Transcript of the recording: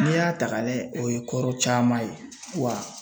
N'i y'a ta k'a lajɛ o ye kɔrɔ caman ye wa